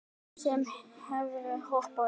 Ég hefði hoppað upp.